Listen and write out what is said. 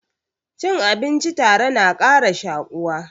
Cin abinci tare na ƙara shaƙuwa